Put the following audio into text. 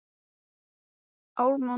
Höskuldur: Ertu búinn að kaupa jakkaföt?